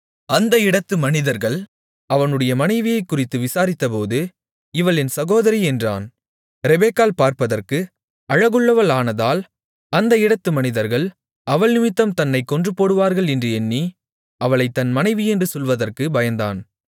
அந்த இடத்து மனிதர்கள் அவனுடைய மனைவியைக் குறித்து விசாரித்தபோது இவள் என் சகோதரி என்றான் ரெபெக்காள் பார்ப்பதற்கு அழகுள்ளவளானதால் அந்த இடத்து மனிதர்கள் அவள்நிமித்தம் தன்னைக் கொன்றுபோடுவார்கள் என்று எண்ணி அவளைத் தன் மனைவி என்று சொல்லுவதற்குப் பயந்தான்